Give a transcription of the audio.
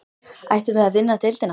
Ættum við að vinna deildina?